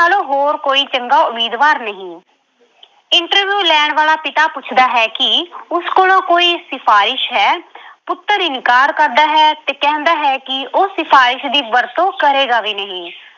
ਨਾਲੋਂ ਹੋਰ ਕੋਈ ਚੰਗਾ ਉਮੀਦਵਾਰ ਨਹੀਂ interview ਲੈਣ ਵਾਲਾ ਪਿਤਾ ਪੁੱਛਦਾ ਹੈ ਕਿ ਉਸ ਕੋਲ ਕੋਈ ਸਿਫਾਰਿਸ਼ ਹੈ। ਪੁੱਤਰ ਇਨਕਾਰ ਕਰਦਾ ਹੈ ਤੇ ਕਹਿੰਦਾ ਹੈ ਕਿ ਉਹ ਸਿਫਾਰਿਸ਼ ਦੀ ਵਰਤੋਂ ਕਰੇਗਾ ਵੀ ਨਹੀਂ।